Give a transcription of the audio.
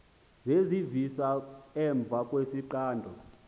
zezivisa emva kwesixando